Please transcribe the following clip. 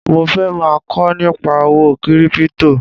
Mo fẹ́ máa kọ́ nípa owó kírípítò